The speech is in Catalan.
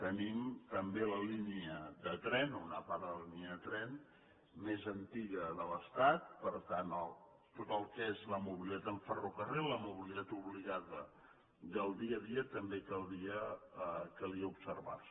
tenim també la línia de tren o una part de la línia de tren més antiga de l’estat per tant tot el que és la mobilitat amb ferrocarril la mobilitat obligada del dia a dia també calia observar la